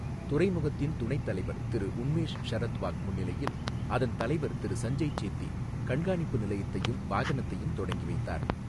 துறைமுகத்தின் துணைத் தலைவர் திரு உன்மேஷ் ஷரத் வாக் முன்னிலையில் அதன் தலைவர் திரு சஞ்சய் சேத்தி கண்காணிப்பு நிலையத்தையும், வாகனத்தையும் தொடங்கி வைத்தார்.